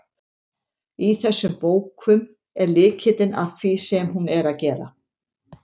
Í þessum bókum er lykillinn að því sem hún er að gera.